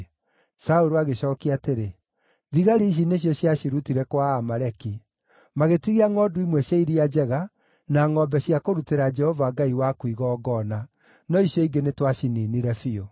Saũlũ agĩcookia atĩrĩ, “Thigari ici nĩcio ciacirutire kwa Aamaleki; magĩtigia ngʼondu imwe cia iria njega na ngʼombe cia kũrutĩra Jehova Ngai waku igongona, no icio ingĩ nĩtwaciniinire biũ.”